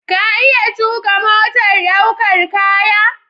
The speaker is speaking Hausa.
Ka iya tuƙa motar ɗaukar kaya?